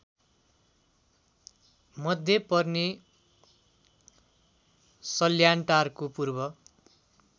मध्ये पर्ने सल्यानटारको पूर्व